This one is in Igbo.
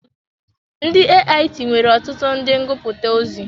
Ndị AIT nwere ọtụtụ ndị ngụputa ozi.